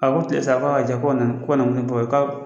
A ko tile saba, k'a ka jan ko